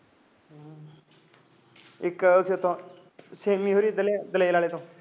ਇੱਕ ਇੱਧਰਲੇ ਛੇਵੀਂ ਹੋਣਾ ਦਲੇਰ ਆਲੇ ਤੋਂ